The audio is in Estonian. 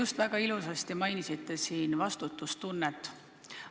Te väga ilusasti mainisite siin vastutustunnet.